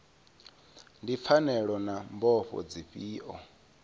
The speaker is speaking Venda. ndi pfanelo na mbofho dzifhio